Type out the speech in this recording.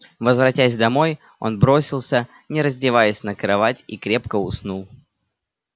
возвратясь домой он бросился не раздеваясь на кровать и крепко уснул